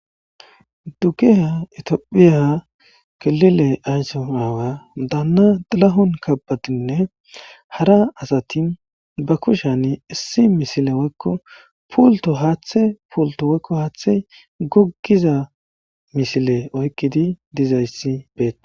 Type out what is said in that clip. Dukiya itiophiya kelile ayssimaawa daanna dalahon kabatinne hara asati ba kushani issi misile woykko puulto haaththe puulto woykko haaththe goggiza misile oykkidi dizayssi beettas.